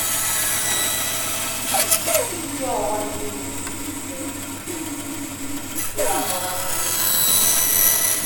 Isi ọwụwa na inwe ihe isi ike ịrahụ ụra pụrụ ịbụ nsogbu.